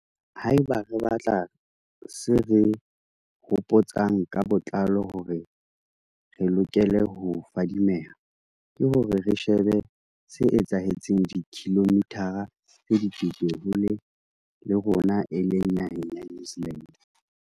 Haeba re batla se re hopo tsang ka botlalo hore re lokele ho fadimeha, ke hore re shebe se etsahetseng dikilomithara tse dikete hole le rona e leng naheng ya New Zealand.